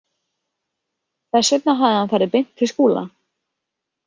Þess vegna hafði hann farið beint til Skúla.